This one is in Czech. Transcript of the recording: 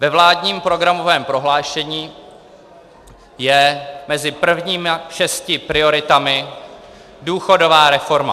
Ve vládním programovém prohlášení je mezi prvními šesti prioritami důchodová reforma.